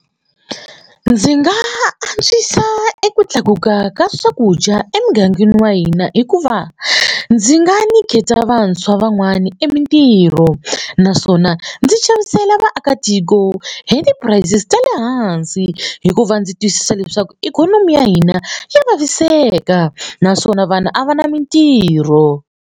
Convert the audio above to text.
Ndzi nga antswisa eku tlakuka ka swakudya emugangeni wa hina hikuva ndzi nga nyiketa vantshwa van'wani emintirho naswona mina ndzi xavisela vaakatiko hi ti prices ta le hansi hikuva ndzi twisisa leswaku ikhonomi ya hina ya vaviseka naswona vanhu a va na mintirho.